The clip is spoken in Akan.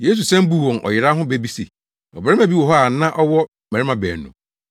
Yesu san buu wɔn ɔyera ho bɛ bi se, “Ɔbarima bi wɔ hɔ a na ɔwɔ mmabarima baanu.